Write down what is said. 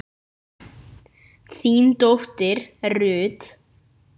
þín dóttir Ruth.